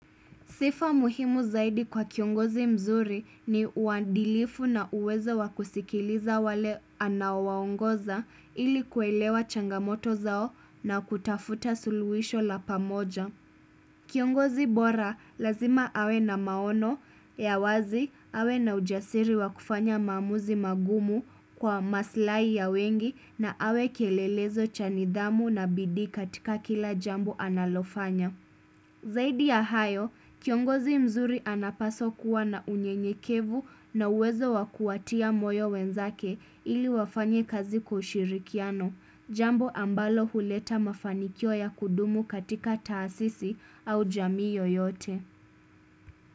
Sifa muhimu zaidi kwa kiongozi mzuri ni uandilifu na uwezo wa kusikiliza wale anaowaongoza ili kuelewa changamoto zao na kutafuta suluhisho la pamoja. Kiongozi bora lazima awe na maono ya wazi awe na ujasiri wa kufanya maamuzi magumu kwa maslahi ya wengi na awe kielelezo cha nidhamu na bidii katika kila jambu analofanya. Zaidi ya hayo, kiongozi mzuri anapaswa kuwa na unyenyekevu na uwezo wa kuwatia moyo wenzake ili wafanye kazi kwa ushirikiano, jambo ambalo huleta mafanikio ya kudumu katika taasisi au jamii yoyote.